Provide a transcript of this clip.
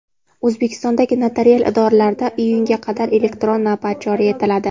O‘zbekistondagi notarial idoralarda iyunga qadar elektron navbat joriy etiladi.